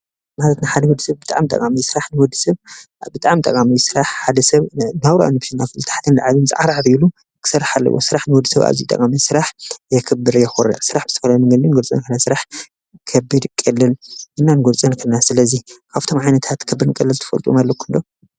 ስራሕ ን ወዲ ሰብ ብጣዕሚ ጠቃሚ እዩ። ሓደ ሰብ ናብርኡ ንምሽናፍ ታሕትን ላዕልን ኢሉ ፀዓርዓር ኢሉ ክሰርሕ ኣለዎ ስራሕ ኣዝዩ ጠቃሚ እዩ። ስራሕ የክበር የኩርዕ ስራሕ ብዝተፈላለዩ መንገድታት ክንገልፆን ስራሕ ከቢድን ቀሊልን። ኣብዞም ዓይነታት ከቢድን ቀሊልን ትፈልጥወም ኣለኩም ዶ?